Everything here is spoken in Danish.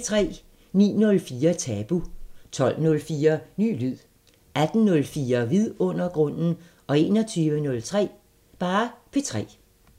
09:04: Tabu 12:04: Ny lyd 18:04: Vidundergrunden 21:03: P3